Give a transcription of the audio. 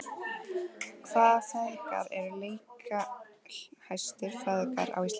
Hvaða feðgar eru leikjahæstu feðgar á Íslandi?